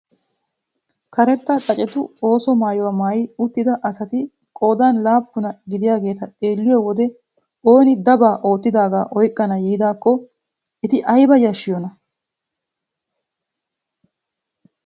Karetta xaacetu ooso maayuwaa maayi uttida asati qoodan laappunaa gidiyaageta xeelliyo wode ooni dabaa oottidagaa oyqqana yiidakko eti ayba yashiyoonaa!